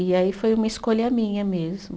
E aí foi uma escolha minha mesmo.